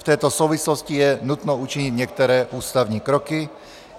V této souvislosti je nutno učinit některé ústavní kroky.